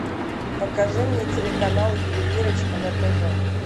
покажи мне телеканал ювелирочка на тв